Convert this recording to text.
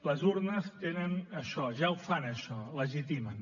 les urnes tenen això ja ho fan això legitimen